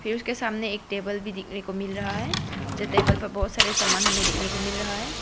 के सामने एक टेबल भी देखने को मिल रहा है जो टेबल प बहोत सारे समान हमे देखने को मिल रहा है।